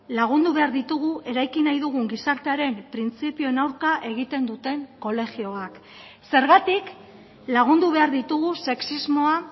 lagundu behar ditugu eraiki nahi dugun gizartearen printzipioen aurka egiten duten kolegioak zergatik lagundu behar ditugu sexismoa